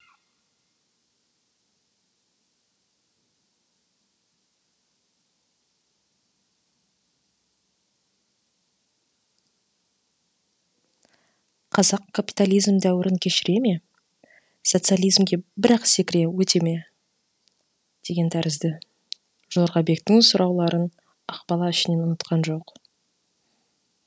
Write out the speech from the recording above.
қазақ капитализм дәуірін кешіре ме сатсализімге бір ақ секіріп өте ме деген тәрізді жорғабектің сұрауларын ақбала ішінен ұнатқан жоқ